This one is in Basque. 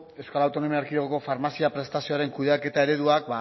euskal autonomia erkidegoko farmazia prestazioaren kudeaketa ereduak